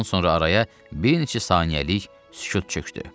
Bundan sonra araya bir neçə saniyəlik sükut çökdü.